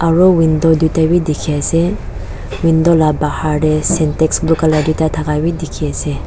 aru window duita wi dikhi ase window la bahar te sintex blue colour duita thaka bi dikhi ase.